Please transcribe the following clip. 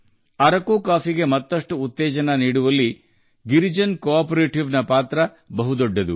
ಅರಕು ಕಾಫಿಯನ್ನು ಹೊಸ ಎತ್ತರಕ್ಕೆ ಕೊಂಡೊಯ್ಯುವಲ್ಲಿ ಗಿರಿಜನ ಸಹಕಾರಿ ಸಂಸ್ಥೆ ಪ್ರಮುಖ ಪಾತ್ರ ವಹಿಸಿದೆ